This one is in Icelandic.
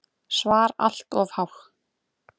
SVAR Allt of há.